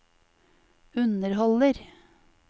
underholder